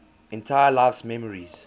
entire life's memories